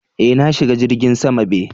Eh, na shiga jirgin sama be.